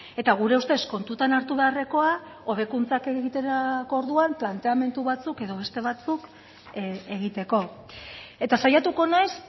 eta gure ustez kontutan hartu beharrekoa hobekuntzak egiterako orduan planteamendu batzuk edo beste batzuk egiteko eta saiatuko naiz